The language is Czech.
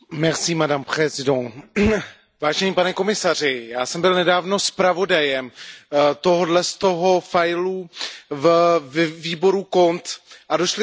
Já jsem byl nedávno zpravodajem tohoto dokumentu ve výboru CONT a došli jsme tam k názoru, že vlastně začátek je špatně.